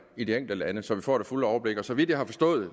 i de enkelte lande så vi får det fulde overblik så vidt jeg har forstået